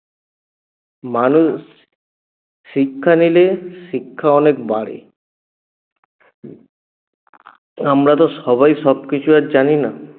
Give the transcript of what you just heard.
মানুষ শিক্ষা নিলে শিক্ষা অনেক বাড়ে আমরা তো আর সবাই সবকিছু আর জানি না